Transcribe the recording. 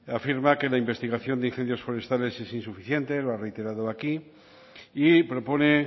afirma que la investigación de incendios forestales es insuficiente lo ha reiterado aquí y propone